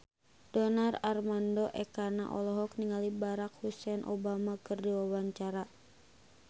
Donar Armando Ekana olohok ningali Barack Hussein Obama keur diwawancara